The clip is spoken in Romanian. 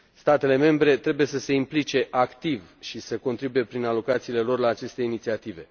Statele membre trebuie să se implice activ și să contribuie prin alocațiile lor la aceste inițiative.